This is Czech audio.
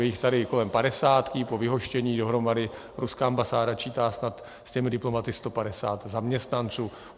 Je jich tady kolem padesátky, po vyhoštění dohromady ruská ambasáda čítá snad s těmi diplomaty 150 zaměstnanců.